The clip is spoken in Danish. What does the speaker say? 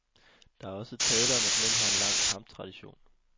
Der er også tale om, at mænd har en lang kamptradition.